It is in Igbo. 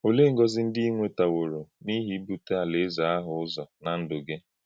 Ọ̀lee ngọ́zi ndị ị̀ nwetàwòrò n’ihi ibùté Alaeze ahụ̀ ụzọ̀ ná ndụ́ gị?